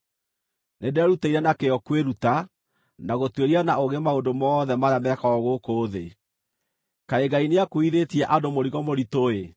Nĩnderutĩire na kĩyo kwĩruta, na gũtuĩria na ũũgĩ maũndũ mothe marĩa mekagwo gũkũ thĩ. Kaĩ Ngai nĩakuuithĩtie andũ mũrigo mũritũ-ĩ!